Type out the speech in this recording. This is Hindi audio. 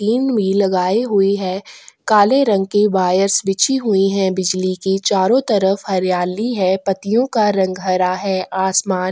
इनमी लगाई हुई है काले रंग की वायरस बिछी हुई है बिजली की चारो तरफ हरियाली है पत्तियों का रंग हरा है आसमान--